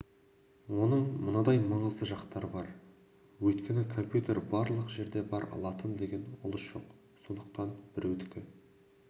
оның мынадай маңызды жақтары бар өйткені компьютер барлық жерде бар латын деген ұлыс жоқ сондықтан біреудікі